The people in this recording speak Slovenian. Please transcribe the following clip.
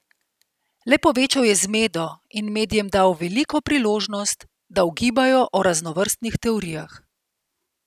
Le povečal je zmedo in medijem dal veliko priložnost, da ugibajo o raznovrstnih teorijah.